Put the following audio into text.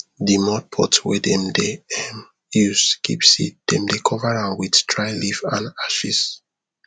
de mud pot wey dem dey um use keep seed dem dey cover am with dry leaf and ashes